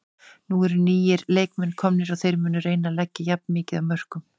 Nú eru nýir leikmenn komnir og þeir munu reyna að leggja jafn mikið af mörkum.